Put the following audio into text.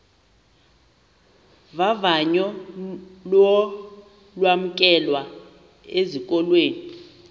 vavanyo lokwamkelwa esikolweni